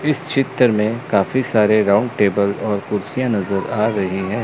इस चित्र में काफी सारे राउंड टेबल और कुर्सियां नजर आ रही है।